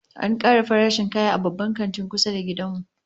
An kara farashin kaya a Babban Kantin kusa da gidan mu